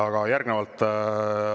Aga järgnevalt …